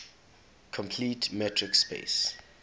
complete metric space